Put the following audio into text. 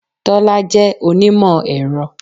Tọ́lá jẹ́ onímọ̀-ẹ̀rọ.